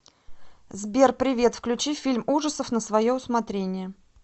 сбер привет включи фильм ужасов на свое усмотрение